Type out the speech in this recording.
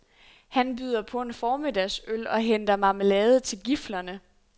Han byder på en formiddagsøl og henter marmelade til giflerne.